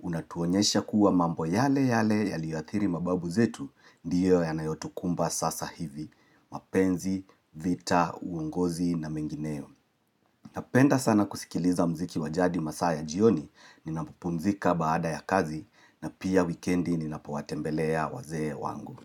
Unatuonyesha kuwa mambo yale yale yaliyoathiri mababu zetu, Ndiyo yanayotukumba sasa hivi, mapenzi, vita, uongozi na mengineo Napenda sana kusikiliza muziki wa jadi masaa ya jioni, ninapopumzika baada ya kazi na pia wikendi ninapowatembelea wazee wangu.